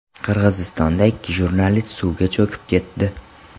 Qirg‘izistonda ikki jurnalist suvga cho‘kib ketdi.